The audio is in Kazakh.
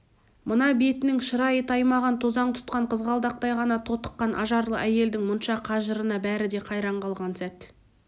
мына бетінің шырайы таймаған тозаң тұтқан қызғалдақтай ғана тотыққан ажарлы әйелдің мұнша қажырына бәрі де қайран қалған сәт